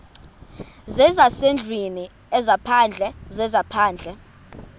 zezasendlwini ezaphandle zezaphandle